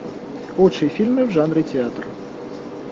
лучшие фильмы в жанре театр